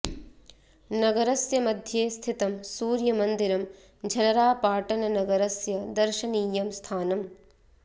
नगरस्य मध्ये स्थितं सूर्यमन्दिरं झलरापाटन नगरस्य दर्शनीयं स्थानम्